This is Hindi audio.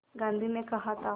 गांधी ने कहा था